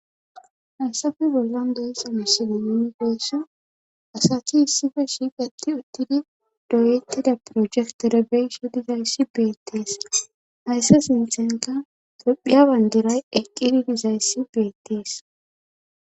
Hayssafe bollan deyexa misiimon geessa asathi issife shiiqati uttidi doyetida projektore beyshi dizayssi beettees hayssa sinthenka truphiya bandiray eqqidi dizayssi beettees.